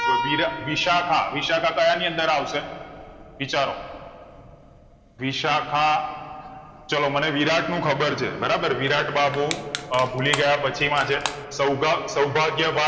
વીરા વિશાખા વિશાખા કાયા ની અંદર આવશે વિચારો વિશાખા ચાલો મને વિરાટ નું ખબર છે બરાબ વિરાટ માં બબૌ ભુલીગયા પછી માં છે સૌગ સૌભાગ્ય માં